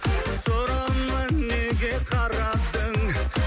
сұрыма неге қарадың